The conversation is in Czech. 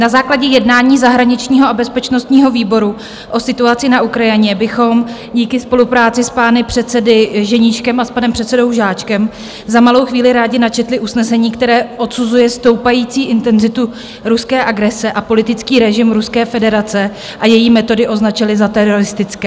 Na základě jednání zahraničního a bezpečnostního výboru o situaci na Ukrajině bychom díky spolupráci s pány předsedy Ženíškem a s panem předsedou Žáčkem za malou chvíli rádi načetli usnesení, které odsuzuje stoupající intenzitu ruské agrese a politický režim Ruské federace a její metody označili za teroristické.